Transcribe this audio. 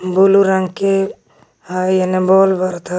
blue रंग के है ऐने बल्ब बरत ह --